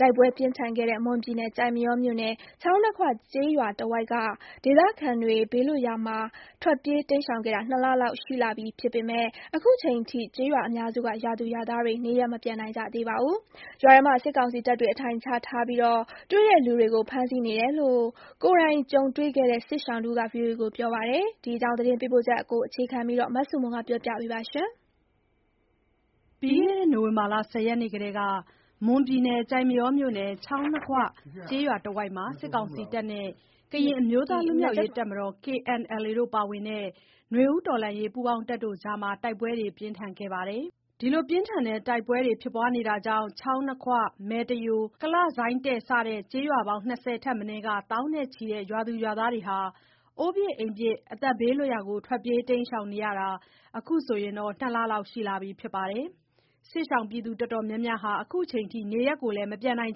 တိုက်ပွဲပြင်းထန်ခဲ့တဲ့ မွန်ပြည်နယ် ကျိုက်မရောမြို့နယ် ချောင်းနှစ်ခွကျေးရွာတဝိုက်က ဒေသခံတွေ ဘေးလွတ်ရာမှာ ထွက်ပြေး တိမ်းရှောင်ခဲ့တာ နှစ်လလောက်ရှိလာပြီဖြစ်ပေမယ့် အခုချိန်ထိ ကျေးရွာအများစုက ရွာသူရွာသားတွေ နေရပ်မပြန်နိုင်ကြသေးပါဘူး။ ရွာထဲမှာ စစ်ကောင်စီတပ်တွေ အထိုင်ချထားပြီး တွေ့တဲ့လူတွေကို ဖမ်းဆီးနေတယ်လို့ ကိုယ်တိုင်ကြုံတွေ့ခဲ့တဲ့ စစ်ရှောင်တဦးက ဗွီအိုအေကို ပြောပါတယ်။ ဒီအကြောင်း သတင်းပေးပို့ချက်ကို အခြေခံပြီး မဆုမွန်က တင်ပြပေးပါမယ်။ ပြီးခဲ့တဲ့ နိုဝင်ဘာလ ၁၀ ရက်နေ့ကတည်းက မွန်ပြည်နယ်၊ ကျိုက်မရောမြို့နယ် ချောင်းနှစ်ခွကျေးရွာတဝိုက်မှာ စစ်ကောင်စီတပ်နဲ့ ကရင်အမျိုးသား လွတ်မြောက်ရေးတပ်မတော် ပါဝင်တဲ့ နွေဦးတော်လှန်ရေး ပူးပေါင်းတပ်တို့အကြား တိုက်ပွဲတွေ ပြင်းထန်ခဲ့တာပါ။ တိုက်ပွဲကြောင့် ချောင်းနှစ်ခွ၊ မယ်တယို၊ ကလှဇိုင်းတဲ့ စတဲ့ ကျေးရွာပေါင်း၂၀ ထက်မနည်းက သောင်းနဲ့ချီတဲ့ ရွာသူရွာသားတွေ အိုးပစ်အိမ်ပစ် ဘေးလွတ်ရာကို ထွက်တိမ်းရှောင်နေရတာ အခုဆိုရင် ၂လလောက်ရှိနေပါပြီး။ စစ်ရှောင်အတော်များများဟာ အချိန်ထိ နေရပ် မပြန်နိုင်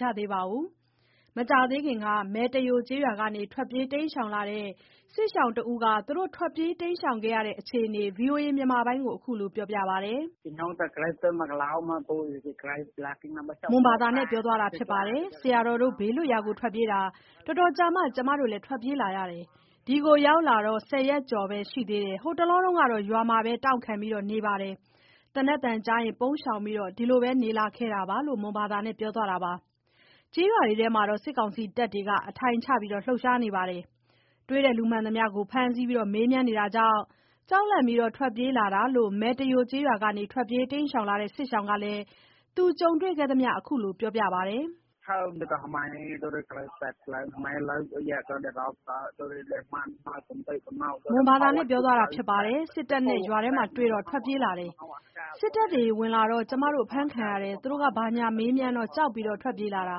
ကြသေးပါဘူး။ မကြာသေးခင်က မယ်တယို ရွာကနေ ထွက်ပြေးတိမ်းရှောင်လာတဲ့ စစ်ရှောင်တဦးက သူတို့ထွက်ပြေးခဲ့ရတဲ့ အခြေအနေကို ခုလို ပြောပါတယ်။ “ဆရာတော်တို့ ဘေးလွတ်ရာကို ထွက်ပြေးတာ တော်တော်ကြာမှ ကျမတို့ ထွက်ပြေးလာတာ။ ဒီကို ရောက်လာတာ ၁၀ ရက်ကျော်ပဲရှိသေးတယ်။ ဟိုတလောက ရွာမှာပဲ တောင့်ခံပြီး နေနေတယ်။ သေနတ်သံကြားရင် ပုန်းရှောင်ပြီး အဲ့လိုပဲနေလာခဲ့တယ်” - လို့ မွန်ဘာသာနဲ့ ပြောသွားတာပါ။ ရွာတွေထဲမှာ စစ်ကောင်စီတပ်တွေ အထိုင်ချ လှုပ်ရှားနေပြီး တွေ့တဲ့လူကို ဖမ်းဆီးမေးမြန်းနေတာမို့ ကြောက်လန့်ပြီး ထွက်ပြေးလာတာလို့ မယ်တယို ရွာကနေ ထွက်ပြေးတိမ်းရှောင်လာတဲ့ စစ်ရှောင်က သူကြုံတွေ့ခဲ့တာကို ခုလို ပြောပါတယ်။ “စစ်တပ်နဲ့ ရွာမှာတွေ့လို့ ထွက်ပြေးလာတယ်။ စစ်တပ်တွေဝင်လာပြီးတော့ ကျမတို့ ဖမ်းခံရတယ်။ သူတို့ ဘာညာ မေးမြန်းတော့ ကြောက်လို့ ထွက်ပြေးလာတာ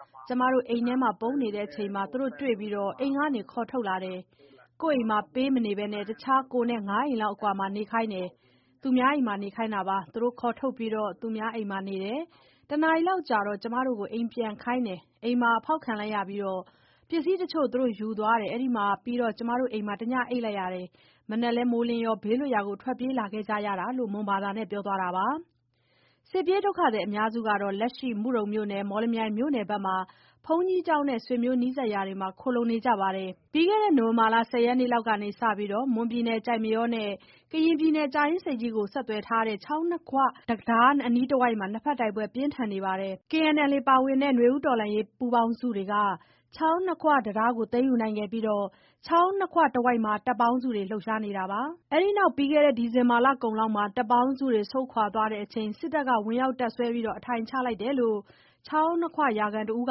။ ကျမတို့ အိမ်မှာပုန်းနေတဲ့အချိန် သူတို့တွေ့ပြီး အိမ်ကနေ ခေါ်ထုတ်လိုက်တယ်။ ကိုယ့်အိမ်မှာ မပေးနေဘဲ တခြား ကိုယ်နဲ့ ၅ အိမ်အကွာမှာ နေခိုင်းတာ သူများအိမ်မှာနေခိုင်းတယ်။ သူ့တို့ ခေါ်ထုတ်ပြီးတော့ သူများအိမ်မှာနေနေတယ် တစ်နာရီလောက်ကြာတော့ ကျမတို့ကို အိမ်ပြန်ခိုင်းတယ်။ အိမ်မှာတော့ ဖောက်ခံလိုက်ရပြီး တချို့ပစ္စည်းတွေ သူတို့ယူသွားတယ်။ အဲ့ဒါပြီးတော့ ကျမတို့ အိမ်မှာ တစ်ညအိပ်လိုက်တယ် မနက်မိုးလင်းတော့ ဘေးလွတ်ရာကို ထွက်ပြေးလာခဲ့တယ်” ဆိုပြီး မွန်ဘာသာနဲ့ ပြောသွားတာပါ။ စစ်ပြေးဒုက္ခသည်အများစုက လက်ရှိ မုဒုံမြို့နယ် မော်လမြိုင်မြို့နယ်ဖက်မှာ ဘုန်းကြီးကျောင်းနဲ့ ဆွေမျိုးနီးစပ်ရာမှာ ခိုလှုံနေကြပါတယ်။ ပြီးခဲ့တဲ့ နိုဝင်ဘာလ ၁၀ရက်နေ့လောက်က စတင်ပြီး မွန်ပြည်နယ်၊ ကျိုက်မရောနဲ့ ကရင်ပြည်နယ်၊ ကြာအင်းဆိပ်ကြီးကို ဆက်သွယ်ထားတဲ့ ချောင်းနှစ်ခွ တံတားအနီးတဝိုက်မှာ နှစ်ဖက်တိုက်ပွဲ ပြင်းထန်ခဲ့ပါတယ်။ KNLA ပါဝင်တဲ့ နွေဦးတော်လှန်ရေး ပူးပေါင်းစုတွေက ချောင်းနှစ်ခွတံတားကို သိမ်းယူနိုင်ခဲ့ပြီး ချောင်းနှစ်ခွတဝိုက်မှာ တပ်ပေါင်းစုတွေက လှုပ်ရှားနေတာပါ။ အဲ့ဒီနောက်ပြီးခဲ့တဲ့ ဒီဇင်ဘာလကုန်လောက်မှာ တပ်ပေါင်းစုတွေ ဆုတ်ခွာသွားချိန် စစ်တပ်က ဝင်ရောက် တပ်စွဲအထိုင်ချလိုက်တယ်လို့ ချောင်းနှစ်ခွ ရွာခံတဦးက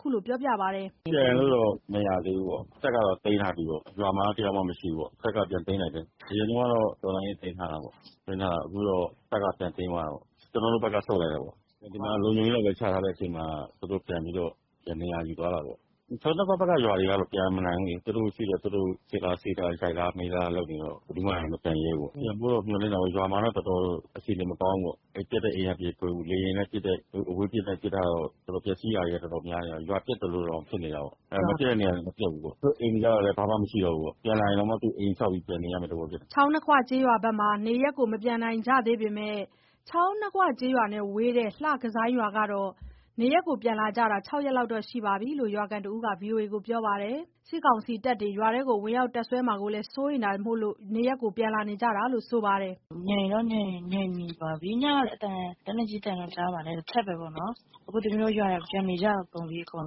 ခုလို ပြောပါတယ်။ “ပြန်လို့တော့ မရသေးဘူးပေါ့။ တပ်က သိမ်းထားတယ်၊ ရွာမှာ တစ်ယောက်မှ မရှိဘူးပေါ့။ တပ်က ပြန်သိမ်းလိုက်တယ်။ အရင်တုန်းကတော့ တော်လှန်ရေးက သိမ်းထားတယ်ပေါ့၊ သိမ်းထားတယ်၊ အခုတော့ တပ်က ပြန်သိမ်းသွားတာပေါ့။ ကျနော်တို့ တော်လှန်ရေးဘက်က ဆုတ်လိုက်တာပေါ့။ ဒီမှာ လုံခြုံရေးလောက်ပဲ ချထားတဲ့ အချိန်မှာ သူတို့ ပြန်ပြီးတော့ ပြန်နေရာယူသွားတယ်ပေါ့။ ချောင်းနှစ်ခွဘက်က ရွာတွေကတော့ ပြန်မနိုင်ဘူးလေ သူတို့ရှိတော့ စစ်တာဆေးတာ ရိုက်တာမေးတာ လုပ်နေတော့ ဘယ်သူမှမပြန်ရဲဘူးပေါ့။ ပြန်ဖို့တော့ မျှော်လင့်တာပေ့ါ။ ရွာမှာတော့ တော်တော်အခြေအနေ မကောင်းဘူးပေါ့။ ပျက်တဲ့အိမ်ကပျက်၊ လေယာဉ်နဲ့ အဝေးကပစ်တော့ ပျက်စီးတာတွေ တော်တော်များနေတာ ရွာပျက်သလိုတောင် ဖြစ်နေတာပေါ့။ မပျက်တဲ့နေရာမှာ မပျက်ဘူးပေါ့၊ တချို့အိမ်တွေကလည်း ဘာမှမရှိတော့ဘူးပေါ့။ ပြန်လာရင်တောင် အိမ်ဆောက်ပြီး ပြန်နေရမယ့်သဘောဖြစ်တယ်။” ချောင်းနှစ်ခွ ကျေးရွာဘက်က နေရပ်မပြန်နိုင်ကြသေးပေမယ့် ချောင်းနှစ်ခွ ကျေးရွာနဲ့ဝေးတဲ့ လှကဇိုင်း ရွာကတော့ နေရပ်ပြန်လာကြတာ ၆ရက်လောက်ရှိပြီးလို့ ရွာခံတဦးက ဗွီအိုအေကို ပြောပါတယ်။ စစ်ကောင်စီတပ်တွေ ရွာထဲ ဝင်ရောက် တပ်စွဲမှာကို စိုးရိမ်တာမို့ နေရပ်ပြန်လာကြတာလို့ ဆိုပါတယ်။ “ငြိမ်တော့ ငြိမ်နေပါပြီ။ ညက လက်နက်ကြီးအသံတော့ ကြားပါတယ်။ တချက်ပဲပေါ့နော်၊ အခု သမီးတို့ရွာက ပြန်နေကြကုန်ပြီ အကုန်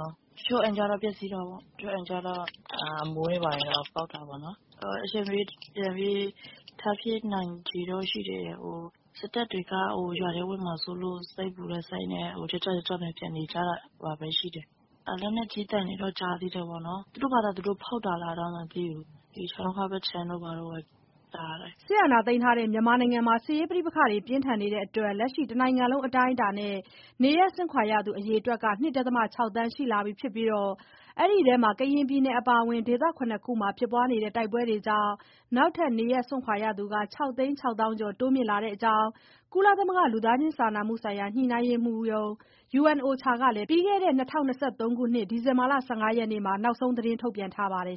လုံး။ တချို့အိမ်က ပျက်စီးတာပေါ့၊ တချို့အိမ်ကျတော့ အမိုးတွေ ဘာတွေတော့ ပေါက်တာပေါ့နော်။ အချိန်မရွေးထပ်ဖြစ်နိုင်ချေတော့ ရှိတယ်။ စစ်တပ်တွေက ရွာထဲဝင်မှာစိုးလို့ စိတ်ပူတဲ့စိတ်နဲ့ ကြွကြွ ကြွကြွနဲ့ဘဲ ပြန်နေကြတာပဲရှိတယ်။ လက်နက်ကြီးသံတွေတော့ ကြားနေသေးတယ်ပေါ့နော်။ သူတို့ဘာသာ သူတို့ဖောက်တာလာတော့ မသိဘူး၊ ဒီချောင်းနှစ်ခွဘက်ခြမ်းတို့ဘက် ကြားတယ်။” တိုက်ပွဲကြောင့် လက်ရှိ တနိုင်ငံလုံး အတိုင်းအတာနဲ့ နေရပ်စွန့်ခွာရသူ အရေအတွက်က ၂ ဒသမ ၆ သန်းရှိလာပြီဖြစ်ပြီး အဲ့ဒီထဲမှာ ကရင်ပြည်နယ် အပါအဝင် ဒေသ ၇ ခုမှာဖြစ်နေတဲ့ တိုက်ပွဲတွေကြောင့် နောက်ထပ် နေရပ်စွန့်ခွာရသူက ၆သိန်း ၆သောင်းကျော် တိုးမြင့် လာနေတဲ့အကြောင်း ကုလသမဂ္ဂ လူသားချင်းစာနာမှုဆိုင် ညှိနှိုင်းရေးမှူးရုံး UNOCHA က ပြီးခဲ့တဲ့ ဒီဇင်ဘာလ ၁၅ ရက်နေ့မှာ နောက်ဆုံး ထုတ်ပြန်ထားပါတယ်